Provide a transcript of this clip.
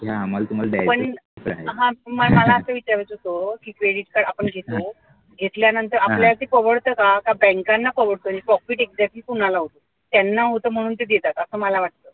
पण मला असं विचारायचं होत की credit card आपण घेतो घेतल्या नंतर आपल्याला ते परवडत का का बँकांना परवडत profit exactly कोणाला होतो त्यांना होतो म्हणून ते देतात असं मला वाटत